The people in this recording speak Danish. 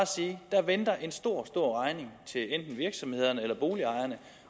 sige der venter en stor stor regning til enten virksomhederne eller boligejerne